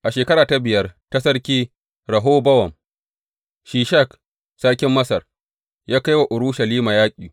A shekara ta biyar ta Sarki Rehobowam, Shishak sarkin Masar ya kai wa Urushalima yaƙi.